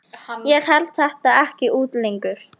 Ég held þetta ekki út lengur!